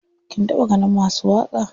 Kin taɓa ganin masu waƙa?